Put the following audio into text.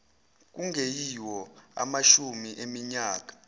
kungeyiwo amashumi eminyaka